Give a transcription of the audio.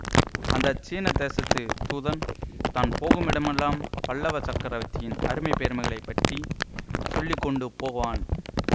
அந்த சீன தேசத்துத் தூதன் தான் போகுமிடம்மெல்லாம் பல்லவ சக்கரவர்த்தியின் அருமை பெருமைகளைப் பற்றி சொல்லி கொண்டு போவான்